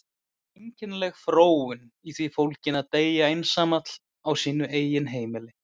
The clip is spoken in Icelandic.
Það var einkennileg fróun í því fólgin að deyja einsamall á sínu eigin heimili.